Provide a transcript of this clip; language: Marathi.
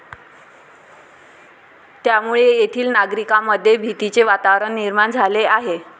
त्यामुळे येथील नागरिकांमध्ये भीतीचे वातावरण निर्माण झाले आहे.